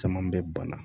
Caman bɛ bana